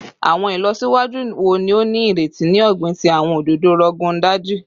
Awọn ilọsiwaju wo ni o nireti ni ogbin ti awọn ododo Rogon Daji?